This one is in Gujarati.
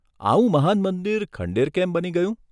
આવું મહાન મંદિર ખંડેર કેમ બની ગયું?